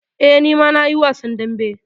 Eh, ni ma na yi wasan dambe.